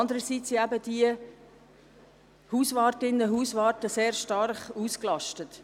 Andererseits sind eben die Hauswartinnen und Hauswarte sehr stark ausgelastet.